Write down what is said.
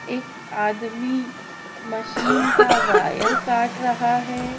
एक आदमी मशीन का वायर काट रहा है।